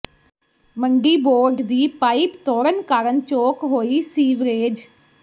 ਮੰਡੀ ਬੋਰਡ ਦੀ ਪਾਇਪ ਤੋੜਨ ਕਾਰਨ ਚੋਕ ਹੋਈ ਸੀਵਰੇਜ